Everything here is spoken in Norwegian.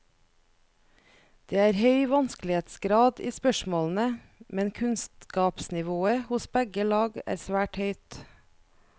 Det er høy vanskelighetsgrad i spørsmålene, men kunnskapsnivået hos begge lag er svært høyt.